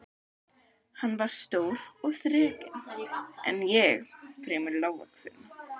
Hann var stór og þrekinn en ég fremur lágvaxinn.